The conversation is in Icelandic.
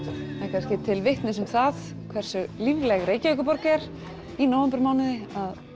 kannski til vitnis um það hversu lífleg Reykjavíkurborg er í nóvembermánuði